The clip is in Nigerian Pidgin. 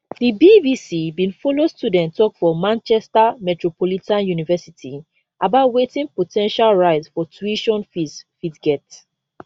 di bbc bin follow student tok for manchester metropolitan university about wetin po ten tial rise for tuition fees fit get